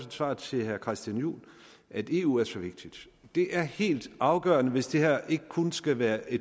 et svar til herre christian juhl at eu er så vigtig det er helt afgørende hvis det her ikke kun skal være